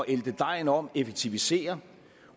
ælte dejen om effektivisere